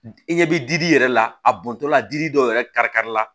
I ɲɛ bɛ di i yɛrɛ la a bɔntɔ la dili dɔ yɛrɛ kari kari la